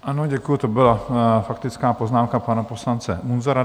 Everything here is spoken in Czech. Ano, děkuji, to byla faktická poznámka pana poslance Munzara.